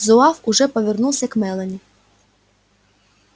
зуав уже повернулся к мелани